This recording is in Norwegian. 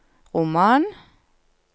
roman